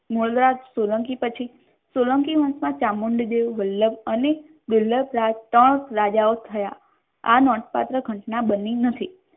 મૂળરાજ સોલંકી પછી સુનિલ કી કાળમાં સોલંકી વંશમાં ચામુંડ દેવ વલ્લભ અને દુર્લભરાજ ત્રણ રાજાઓ થયા આ નોંધપાત્ર ઘટના બની હતી.